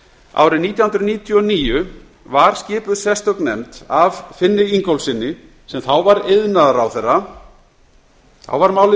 árið nítján hundruð níutíu og níu var skipuð sérstök nefnd af finni ingólfssyni sem þá var iðnaðarráðherra þá var málið í